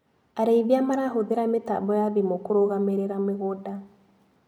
Arĩithia marahũthĩra mĩtambo ya thimũ kũrũgamĩrira mĩgũnda.